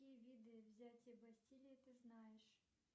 какие виды взятия бастилии ты знаешь